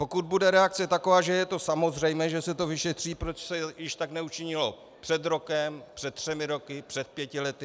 Pokud bude reakce taková, že je to samozřejmé, že se to vyšetří, proč se již tak neučinilo před rokem, před třemi roky, před pěti lety?